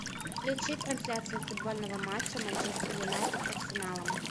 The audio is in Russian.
включи трансляцию футбольного матча манчестер юнайтед с арсеналом